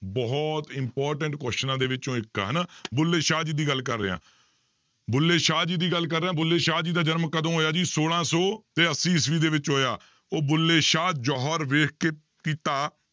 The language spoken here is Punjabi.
ਬਹੁਤ important ਕੁਆਸਚਨਾਂ ਦੇ ਵਿੱਚੋਂ ਇੱਕ ਆ ਹਨਾ ਬੁੱਲੇ ਸ਼ਾਹ ਜੀ ਦੀ ਗੱਲ ਕਰ ਰਿਹਾਂ, ਬੁੱਲੇ ਸ਼ਾਹ ਜੀ ਦੀ ਗੱਲ ਕਰ ਰਿਹਾਂ, ਬੁੱਲੇ ਸ਼ਾਹ ਜੀ ਦਾ ਜਨਮ ਕਦੋਂ ਹੋਇਆ ਜੀ, ਛੋਲਾਂ ਸੌ ਤੇ ਅੱਸੀ ਈਸਵੀ ਦੇ ਵਿੱਚ ਹੋਇਆ ਉਹ ਬੁੱਲੇ ਸ਼ਾਹ ਜੋਹਰ ਵੇਖ ਕੇ ਕੀਤਾ